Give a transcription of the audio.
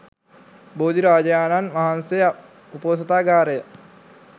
බෝධිරාජයාණන් වහන්සේ උපෝසථාගාරය,